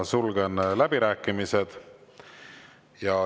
Sulgen läbirääkimised.